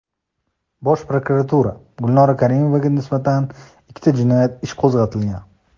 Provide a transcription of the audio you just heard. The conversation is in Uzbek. Bosh prokuratura: Gulnora Karimovaga nisbatan ikkita jinoyat ishi qo‘zg‘atilgan .